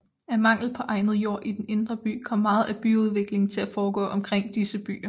Af mangel på egnet jord i den indre by kom meget af byudviklingen til at foregå omkring disse byer